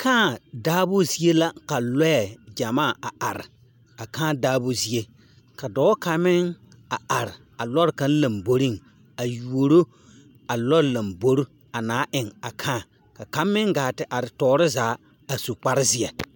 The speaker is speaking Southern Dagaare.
Kaa daabo zie la ka lɔɛ gyemaa a are a kaa daabo zie ka dɔɔ kaŋ meŋ a are a lɔɔre kaŋ lomboreŋ a yuoro a lɔɔre lombore a naa eŋ a kaa ka kaŋ meŋ gaa te are tɔɔre zaa a su kparrezeɛ.